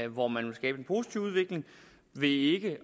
hvor man vil skabe en positiv udvikling ved ikke